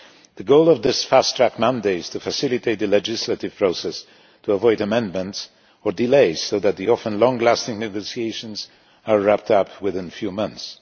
The goal of this fast track mandate is to facilitate the legislative process to avoid amendments or delays so that the often long lasting negotiations are wrapped up within a few months.